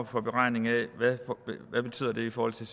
for beregninger af hvad det betyder i forhold til